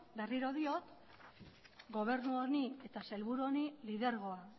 berriro diot gobernu honi eta sailburu honi lidergoa